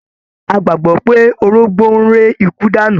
A gbàgbọ́ pé orógbó ń ré ikú dànù.